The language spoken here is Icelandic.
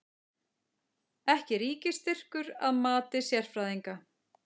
Ekki ríkisstyrkur að mati sérfræðinga